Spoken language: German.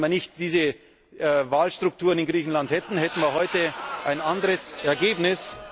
Wenn wir nicht diese Wahlstrukturen in Griechenland hätten, hätten wir heute ein anderes Ergebnis.